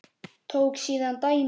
Tók síðan dæmi: